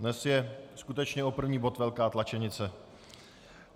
Dnes je skutečně o první bod velká tlačenice.